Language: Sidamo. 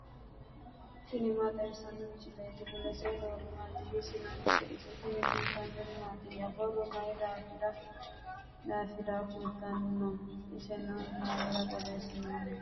tini maa xawissanno misileeti ? mulese noori maati ? hiissinannite ise ? tini kultannori mattiya? borro mayi daafirra kulittanno? isenno mayiira borreessinoonni?